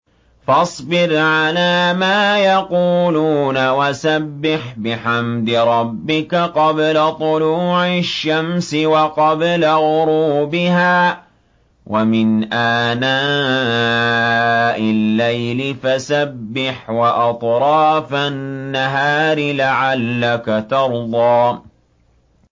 فَاصْبِرْ عَلَىٰ مَا يَقُولُونَ وَسَبِّحْ بِحَمْدِ رَبِّكَ قَبْلَ طُلُوعِ الشَّمْسِ وَقَبْلَ غُرُوبِهَا ۖ وَمِنْ آنَاءِ اللَّيْلِ فَسَبِّحْ وَأَطْرَافَ النَّهَارِ لَعَلَّكَ تَرْضَىٰ